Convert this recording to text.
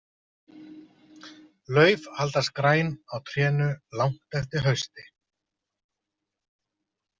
Lauf haldast græn á trénu langt eftir hausti.